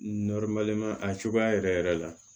a cogoya yɛrɛ yɛrɛ la